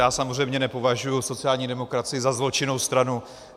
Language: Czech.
Já samozřejmě nepovažuji sociální demokracii za zločinnou stranu.